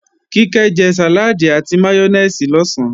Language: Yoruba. Kíkẹ́ jẹ sàláàdì àti máyónèsì lọ̀sán